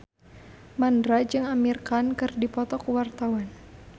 Mandra jeung Amir Khan keur dipoto ku wartawan